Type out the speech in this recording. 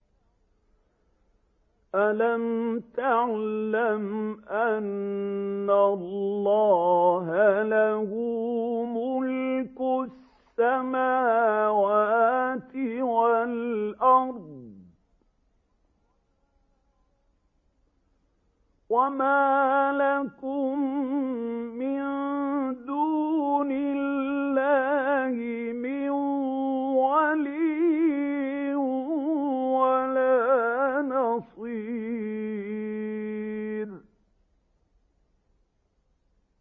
أَلَمْ تَعْلَمْ أَنَّ اللَّهَ لَهُ مُلْكُ السَّمَاوَاتِ وَالْأَرْضِ ۗ وَمَا لَكُم مِّن دُونِ اللَّهِ مِن وَلِيٍّ وَلَا نَصِيرٍ